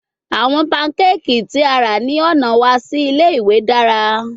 Awọn pancakes ti a ra ni ọna wa si ile-iwe dara